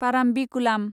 Parambikulam